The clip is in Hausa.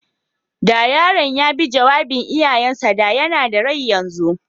Da yaron ya bi jawabin iyayen sa, da yana da rai yanzu.